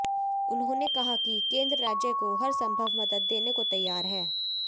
उन्होंने कहा कि केन्द्र राज्य को हर संभव मदद देने को तैयार है